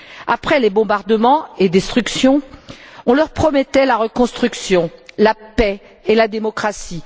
Après les bombardements et les destructions, on leur promettait la reconstruction, la paix et la démocratie.